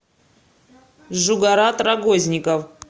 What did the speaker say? жугарат рогозников